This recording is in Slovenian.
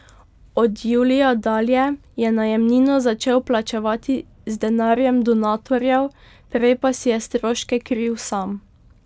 Od julija dalje je najemnino začel plačevati z denarjem donatorjev, prej pa si je stroške kril sam.